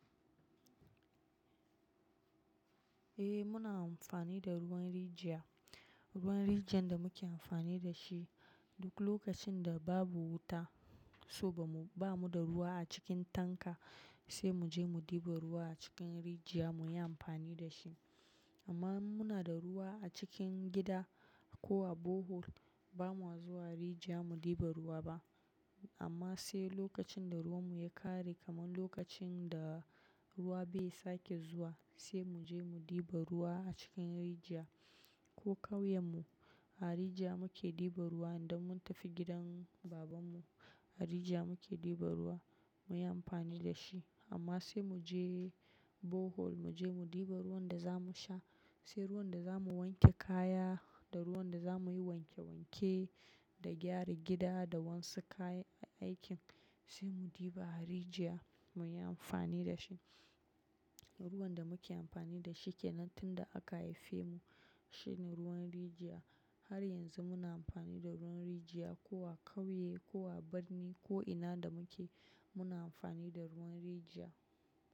Eh muna amfani da ruwan rijiya, ruwan rijiyan da muke amfani da shi duk lokacin da babu wuta, saboda ba mu da ruwa a cikin tanka sai mu je mu ɗiba ruwa a cikin rijiya mu yi amfani da shi. Amma muna da ruwa a cikin gida ko a bohol ba mu ha zuwa rijiya mu ɗiba ruwa ba. Amma sai lokacin da ruwan mu ya ƙare kamar lokacin da ruwa bai sake zuwa sai mu je mu ɗiba ruwa a cikin rijiya ko ƙauyen mu. A rijiya muke ɗiba ruwa idan mun tafi gidan baban mu. A rijiya muke ɗiba ruwa mu yi amfani da shi. Amma sai mu je bohol mu je mu ɗiba ruwan da za mu sha, sai ruwan da za mu wanke kaya da ruwan da za mu yi wanke wanke da gyara gida da wasu kayan aikin sai mu ɗiba a rijiya mu yi amfani da shi. Ruwan da muke amfani da shi kenan tun da aka haife mu shine ruwan rijiya. Har yanzu muna amfani da ruwan rijiya ko a ƙauye ko a birni ko ina da muke muna amfani da ruwan rijiya.